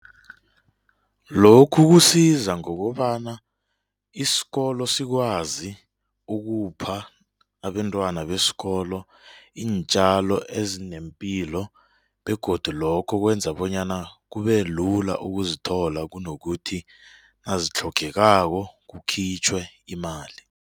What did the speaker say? Lokhu kusiza ngokobana isikolo sikwazi ukupha abentwana besikolo iintjalo ezinempilo begodu lokho kwenza bonyana kube lula ukuzithola kunokuthi nazitlhogekako kukhitjhwe imali.